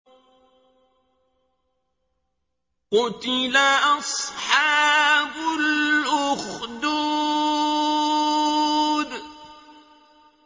قُتِلَ أَصْحَابُ الْأُخْدُودِ